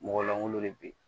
Mɔgɔ langolo de be yen